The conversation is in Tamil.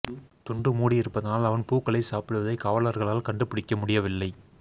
துண்டு முடி இருபதனால் அவன் பூக்களை சாப்பிடுவதை காவலர்களால் கண்டுபிடிக்க முடியவில்லை